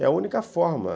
É a única forma.